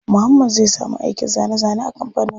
Muhammad zai samu aikin zane zane a kampanin.